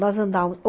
Nós andávamos.